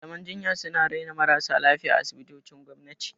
Malaman jinya suna raina marasa lafiya a asibitocin gwamnati.